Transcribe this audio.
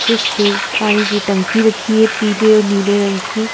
जिसपे पानी की टंकी रखी है पीले और नीले रंग की।